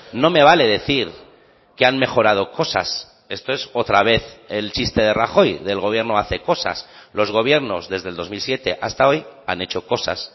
no me vale decir que han mejorado cosas esto es otra vez el chiste de rajoy de el gobierno hace cosas los gobiernos desde el dos mil siete hasta hoy han hecho cosas